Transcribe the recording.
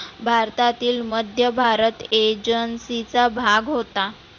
भारतातील मध्य भारत agency चा भाग होता.